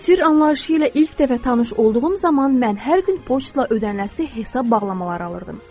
Sirr anlayışı ilə ilk dəfə tanış olduğum zaman mən hər gün poçtla ödəniləsi hesab bağlamaları alırdım.